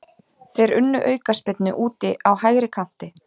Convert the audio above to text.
Þeir unnu aukaspyrnu úti á hægri kanti.